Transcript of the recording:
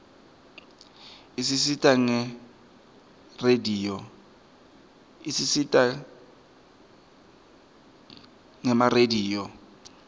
isisita gema rediyo